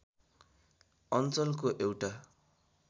अञ्चलको एउटा